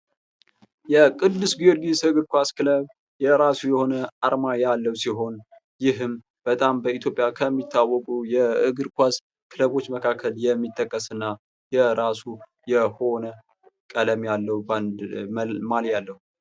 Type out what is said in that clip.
የቅዱስ ጊዮርጊስ እግር ኳስ ክለብ የራሱ የሆነ አርማ ያለው ሲሆን ይህም በጣም በኢትዮጵያ ከሚታወቁ የእግር ኳስ ክለቦች መካከል የሚጠቀስ እና የራሱ የሆነ ቀለም ያለው ማልያ አለው ።